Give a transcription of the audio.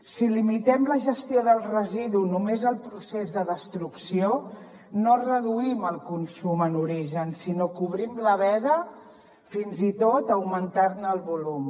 si limitem la gestió del residu només al procés de destrucció no reduïm el consum en origen sinó que obrim la veda fins i tot a augmentar ne el volum